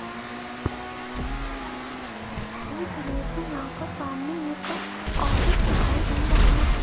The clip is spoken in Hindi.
इस इमेज में यहां पर सामने एक ऑफिस दिखाई दे रहा है।